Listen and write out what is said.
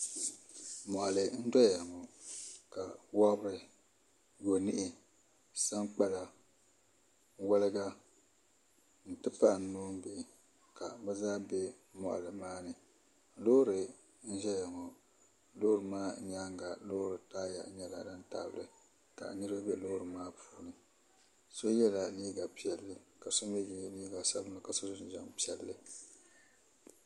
moɣali n doya ŋo ka wobiri yoniɣi sankpala wolga n ti pahi noonbihi ka bi zaa bɛ moɣali maa ni loori n ʒɛya ŋo loori maa nyaanga loori taaya nyɛla din tabili ka niraba bɛ loori maa puuni so yɛla liiga piɛlli ka so mii yɛ liiga sabinli ka so jinjɛm piɛlli